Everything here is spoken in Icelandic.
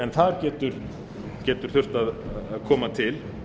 en það getur þurft að koma til